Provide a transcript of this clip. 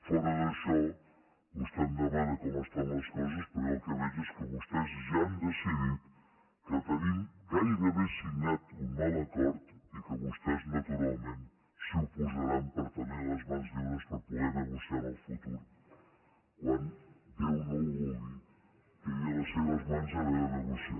fora d’això vostè em demana com estan les coses però jo el que veig és que vostès ja han decidit que tenim gairebé signat un mal acord i que vostès naturalment s’hi oposaran per tenir les mans lliures per poder negociar en el futur quan déu no ho vulgui quedi a les seves mans haver de negociar